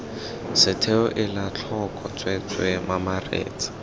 setheo ela tlhoko tsweetswee mamaretsa